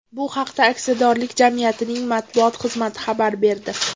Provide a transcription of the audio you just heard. Bu haqda aksiyadorlik jamiyatining matbuot xizmati xabar berdi .